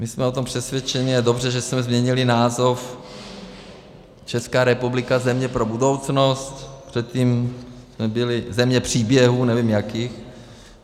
My jsme o tom přesvědčeni, a dobře, že jsme změnili název Česká republika - země pro budoucnost, předtím jsme byli země příběhů, nevím jakých.